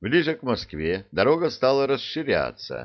ближе к москве дорога стала расширяться